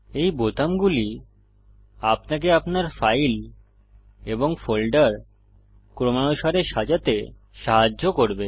এই বোতামগুলি আপনাকে আপনার ফাইল এবং ফোল্ডার ক্রমানুশারে সাজাতে সাহায্য করবে